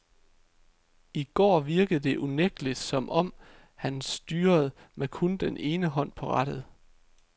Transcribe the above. I går virkede det unægteligt som om, han styrede med kun den ene hånd på rattet.